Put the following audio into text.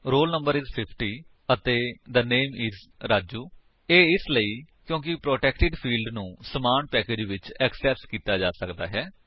role no is 50 ਅਤੇ the name is Raju ਇਹ ਇਸਲਈ ਕਿਉਂਕਿ ਪ੍ਰੋਟੈਕਟਿਡ ਫਿਲਡਸ ਨੂੰ ਸਮਾਨ ਪੈਕੇਜੇਸ ਵਿੱਚ ਐਕਸੇਸ ਕੀਤਾ ਜਾ ਸਕਦਾ ਹੈ